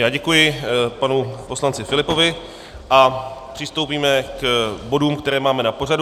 Já děkuji panu poslanci Filipovi a přistoupíme k bodům, které máme na pořadu.